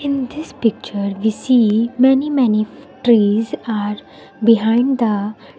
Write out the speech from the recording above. in this picture we see many many f trees are behind the --